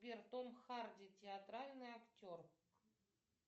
сбер том харди театральный актер